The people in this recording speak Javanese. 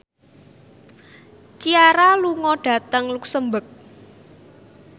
Ciara lunga dhateng luxemburg